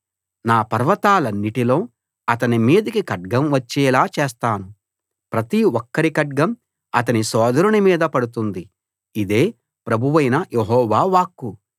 నా పర్వతాలన్నిటిలో అతని మీదికి ఖడ్గం వచ్చేలా చేస్తాను ప్రతి ఒక్కరి ఖడ్గం అతని సోదరుని మీద పడుతుంది ఇదే ప్రభువైన యెహోవా వాక్కు